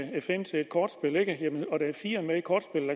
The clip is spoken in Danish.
kortspillet ad